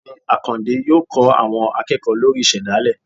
Ọgbẹni akande yọọ kó àwọn akeéko lorí ìsedálẹ